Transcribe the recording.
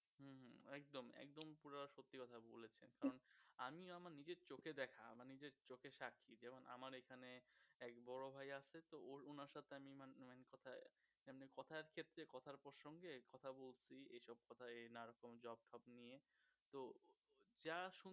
যা শুন~শুনতেছি